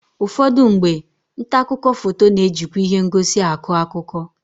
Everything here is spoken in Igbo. Ụfọdụ mgbe, nta akụkọ foto ga-ejikwa ihe ngosi akụ akụkọ.